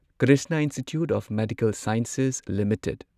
Krishna institute of medical sciences limited